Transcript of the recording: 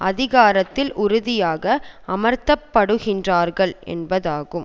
அதிகாரத்தில் உறுதியாக அமர்த்தப்படுகின்றார்கள் என்பதாகும்